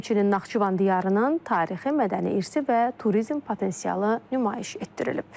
Həmçinin Naxçıvan diyarının tarixi, mədəni irsi və turizm potensialı nümayiş etdirilib.